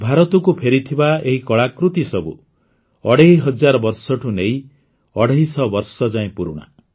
ଭାରତକୁ ଫେରିଥିବା ଏହି କଳାକୃତିସବୁ ଅଢ଼େଇ ହଜାର ବର୍ଷଠୁ ନେଇ ଅଢ଼େଇ ଶହ ବର୍ଷ ଯାଏଁ ପୁରୁଣା